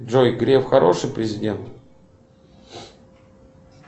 джой греф хороший президент